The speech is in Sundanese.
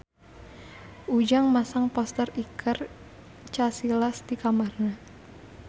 Ujang masang poster Iker Casillas di kamarna